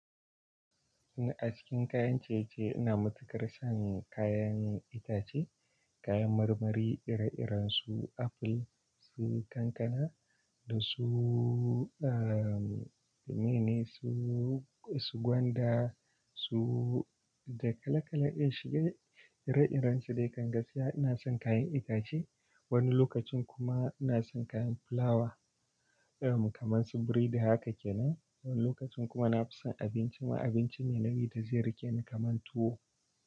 Ni a cikin kayan ciye-ciye ina matukar son kayan itace, kayan marmari ire-iren su aful, su kankana da su, ahm, me ne su, su gwanda, su da kala-kala dai shige ire-iren su dai kan gaskiya ina son kayan itace. Wani lokacin kuma ina son kayan fulawa, irin, kamar su biredi haka kenan. Wani lokacin kuma na fi son abinci ma abinci mai nauyi da zai rike ni kamar tuwo.